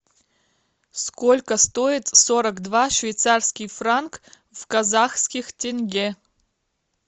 сколько стоит сорок два швейцарский франк в казахских тенге